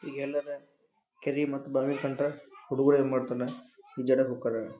ಈಗೆಲ್ಲರ ಕೆರಿ ಮತ್ತ ಭಾವಿ ಕಂಡ್ರ ಹುಡುಗ್ರು ಏನ್ಮಾಡ್ತರ? ಈಜಾಡಾಕ್ ಹೊಕ್ಕಾರ.